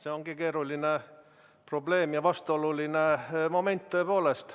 See ongi keeruline probleem ja vastuoluline moment tõepoolest.